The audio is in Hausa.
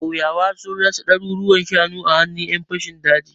Ƙauyukan sun rasa ɗaruruwan shanu a hannun ƴan fashin dajin.